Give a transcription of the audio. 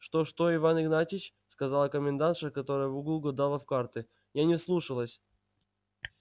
что что иван игнатьич сказала комендантша которая в углу гадала в карты я не вслушалась